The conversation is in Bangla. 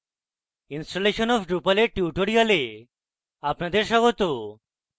installation of drupal এর tutorial আপনাদের স্বাগত